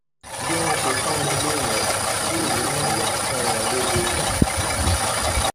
bí wọn ṣe pọn mi lé yẹn kí èmi náà yáa pọn wọn lè lọ dáa